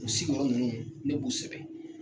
U sigiyɔrɔ ninnu ne b'u sɛbɛn.